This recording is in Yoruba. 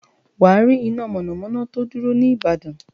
Wà á rí iná mọ̀nàmọ́ná tó dúró ní ìbàdàn.